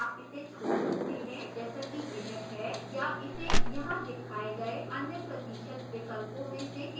आप इसे छोड़ सकते हैं जैसा कि यह है या इसे यहां दिखाए गए any प्रतिशत विकल्पों में से किसी में भी बदल सकते हैं